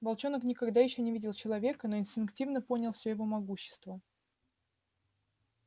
волчонок никогда ещё не видел человека но инстинктивно понял всё его могущество